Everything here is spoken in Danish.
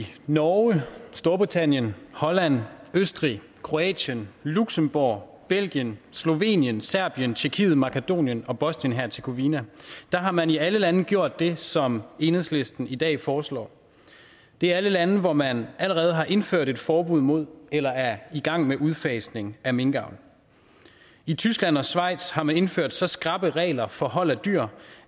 norge storbritannien holland østrig kroatien luxembourg belgien slovenien serbien tyrkiet makedonien og bosnien hercegovina har man i alle lande gjort det som enhedslisten i dag foreslår det er alle lande hvor man allerede har indført et forbud mod eller er i gang med udfasning af minkavl i tyskland og schweiz har man indført så skrappe regler for hold af dyr